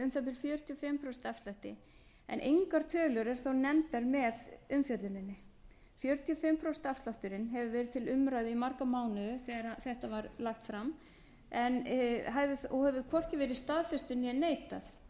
prósent afslætti en engar tölur eru þó nefndar með umfjölluninni fjörutíu og fimm prósent afslátturinn hefur verið til umræðu í marga mánuði þegar þetta á lagt fram en hefur þó hvorki verið staðfestur né neitað hinn